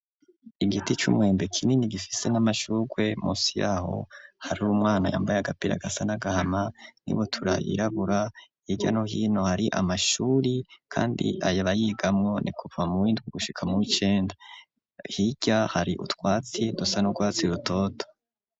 Igiti c'umwembe, kinini, gifise n'amashurwe; munsi y'aho, hari umwana, yambaye agapira, gasa n'agahama, n'ibutura yirabura; hirya no hino, hari amashuri, kandi abayigamwo, ni kuva mu w'indwi, gushika mu w'icenda; hirya, hari utwatsi, dusa n'urwatsi rutoto.